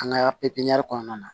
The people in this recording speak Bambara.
An ka pipiniyɛri kɔnɔna na